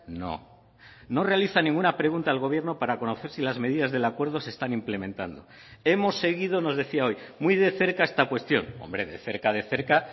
no no realiza ninguna pregunta al gobierno para conocer si las medidas del acuerdo se están implementando hemos seguido nos decía hoy muy de cerca esta cuestión hombre de cerca de cerca